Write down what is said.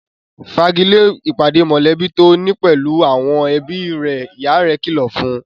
Fa'gilé ìpàdé mọ̀lẹ́bí tó ni pẹ̀lú àwọn ẹbí rẹ' ìyá rẹ̀ kìlọ̀ fún